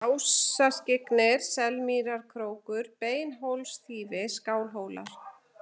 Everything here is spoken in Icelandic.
Ásaskyggnir, Selmýrarkrókur, Beinhólsþýfi, Skálhólar